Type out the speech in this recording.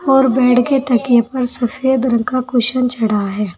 और बेड के तकिए पर सफेद रंग का कुशन चढ़ा है।